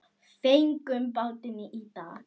Fengum bátinn í dag.